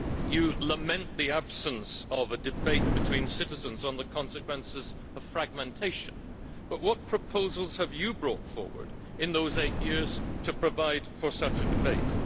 You lament the absence of a debate between citizens on the consequences of fragmentation, but what proposals have you brought forward in those eight years to provide for such a debate?